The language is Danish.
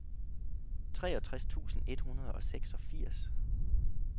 treogtres tusind et hundrede og seksogfirs